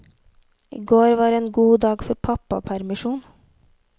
I går var en god dag for pappapermisjon.